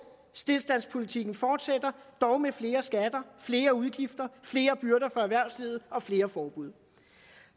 stilstandspolitikken fortsætter dog med flere skatter flere udgifter flere byrder for erhvervslivet og flere forbud